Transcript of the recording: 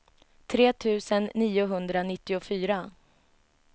tre tusen niohundranittiofyra